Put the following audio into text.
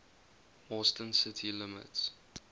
austin city limits